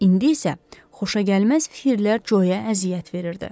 İndi isə xoşagəlməz fikirlər Coya əziyyət verirdi.